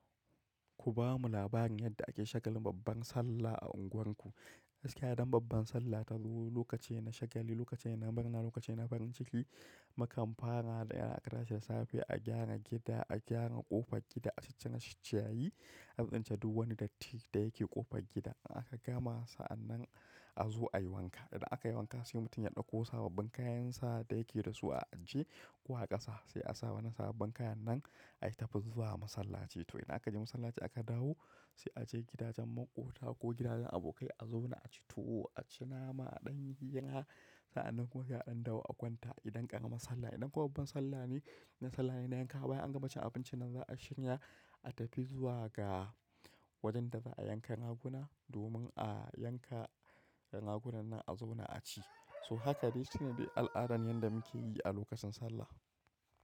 Ku bamu labarin yadda ake shagalin babban Sallah a unguwarku. Gaskiya don babban Sallah ta zo lokaci shagali, lokaci na murna, lokaci na farin ciki, mukam fara da ya da safe a gyara gida, a gyara ƙofar gida, a sha shittayaye, a tsince duk wani datti da yake ƙofar gida. In aka gama sa a nan a zo a yi wanka. Idan aka yi wanka sai mutum ya ɗauko sababbin kayansa da yake da su a ajje ko a ƙasa sai a saba na sababbin kayan nan a tafi zuwa masallaci. Aka je masallaci aka dawo sai a je gidajen maƙota ko gidajen abokai a zauna a ci tuwo, a ci nama a ɗan yi hira. Sa an nan kuwa za a ɗauki akwanta idan aka gama Sallah. Idan kuwa babban Sallah ne, na Sallah ne na yanka baya an gama cin abincin nan za a shirya a tafi zuwa ga wajen da za a yanka raguna domin a yanka ragunan nan a zauna a ci. So haka dai shine al'adan yadda muke yi a lokacin Sallah.